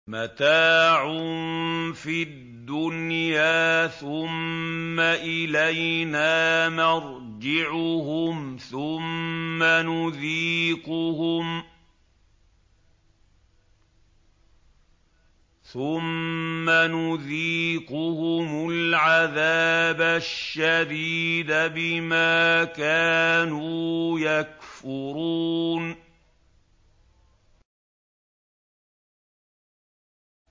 مَتَاعٌ فِي الدُّنْيَا ثُمَّ إِلَيْنَا مَرْجِعُهُمْ ثُمَّ نُذِيقُهُمُ الْعَذَابَ الشَّدِيدَ بِمَا كَانُوا يَكْفُرُونَ